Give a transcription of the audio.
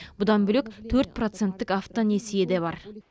бұдан бөлек төрт проценттік автонесие де бар